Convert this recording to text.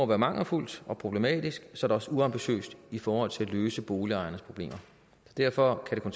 være mangelfuldt og problematisk også uambitiøst i forhold til at løse boligejernes problemer derfor kan